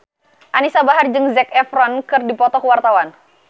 Anisa Bahar jeung Zac Efron keur dipoto ku wartawan